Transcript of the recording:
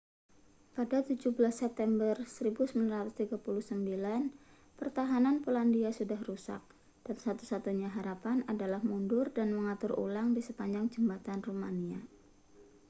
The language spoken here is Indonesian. pada 17 september 1939 pertahanan polandia sudah rusak dan satu-satunya harapan adalah mundur dan mengatur ulang di sepanjang jembatan rumania